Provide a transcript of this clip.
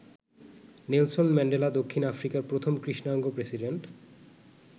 Nelson Mandela দক্ষিণ আফ্রিকার প্রথম কৃষ্ণাঙ্গ প্রেসিডেন্ট।